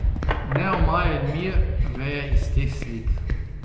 Neomajen mir veje iz teh slik.